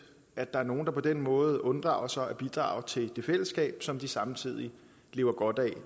at der er nogle der på den måde unddrager sig at bidrage til det fællesskab som de samtidig lever godt af